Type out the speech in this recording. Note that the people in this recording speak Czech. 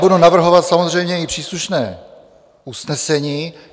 Budu navrhovat samozřejmě i příslušné usnesení.